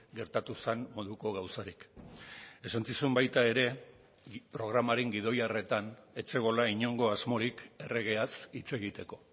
gertatu zen moduko gauzarik esan zizun baita ere programaren gidoi harretan ez zegoela inongo asmorik erregeaz hitz egiteko